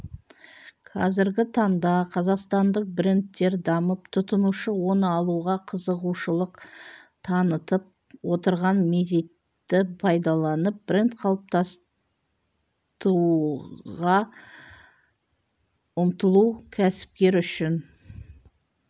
қазіргі таңда қазақстандық брендтер дамып тұтынушы оны алуға қызығушылық танытып отырған мезетті пайдаланып бренд қалыптастыуға ұмтылу кәсіпкер үшін